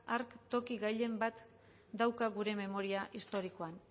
hark toki gailen bat dauka gure memoria historikoan